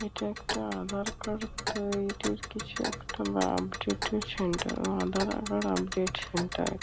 এটা একটা আধার কার্ড তৈরির কিছু একটা বা আপডেট -এর সেন্টার বা আধার আপডেট সেন্টার ।